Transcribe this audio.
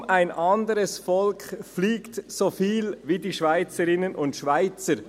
Kaum ein anderes Volk fliegt so viel wie die Schweizerinnen und Schweizer.